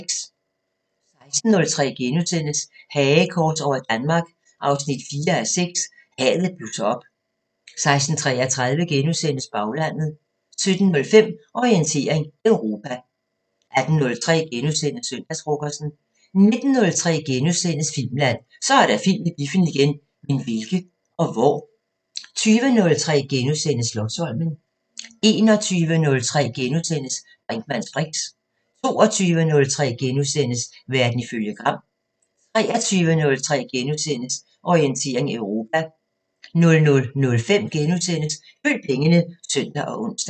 16:03: Hagekors over Danmark 4:6 – Hadet blusser op * 16:33: Baglandet * 17:05: Orientering Europa 18:03: Søndagsfrokosten * 19:03: Filmland: Så er der film i biffen igen! Men hvilke? Og hvor? * 20:03: Slotsholmen * 21:03: Brinkmanns briks * 22:03: Verden ifølge Gram * 23:03: Orientering Europa * 00:05: Følg pengene *(søn og ons)